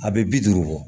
A bɛ bi duuru bɔ